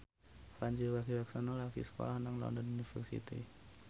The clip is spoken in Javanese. Pandji Pragiwaksono lagi sekolah nang London University